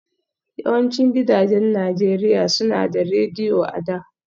Yawancin gidajen Najeriya suna da Rediyo a da